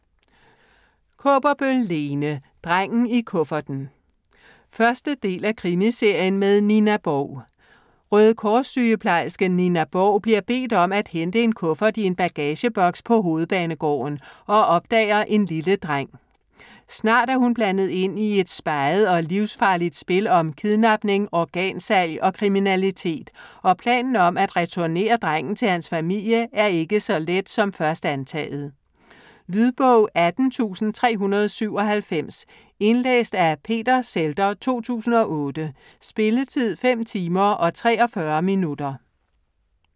Kaaberbøl, Lene: Drengen i kufferten 1. del af Krimiserien med Nina Borg. Røde Kors sygeplejersken Nina Borg bliver bedt om at hente en kuffert i en bagageboks på Hovedbanegården og opdager en lille dreng. Snart er hun blandet ind i et speget og livsfarligt spil om kidnapning, organsalg og kriminalitet og planen om at returnere drengen til hans familie er ikke så let som først antaget. Lydbog 18397 Indlæst af Peter Zhelder, 2008. Spilletid: 5 timer, 43 minutter.